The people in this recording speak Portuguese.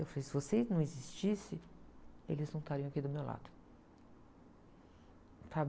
Eu falei, se você não existisse, eles não estariam aqui do meu lado.